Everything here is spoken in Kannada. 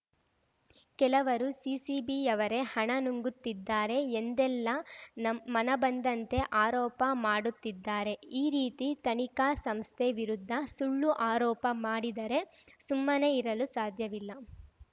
ಕೆಲವರು ಸಿಸಿಬಿಯವರೇ ಹಣ ನುಂಗುತ್ತಿದ್ದಾರೆ ಎಂದೆಲ್ಲಾ ನಮ್ ಮನಬಂದಂತೆ ಆರೋಪ ಮಾಡುತ್ತಿದ್ದಾರೆ ಈ ರೀತಿ ತನಿಖಾ ಸಂಸ್ಥೆ ವಿರುದ್ಧ ಸುಳ್ಳು ಆರೋಪ ಮಾಡಿದರೆ ಸುಮ್ಮನೆ ಇರಲು ಸಾಧ್ಯವಿಲ್ಲ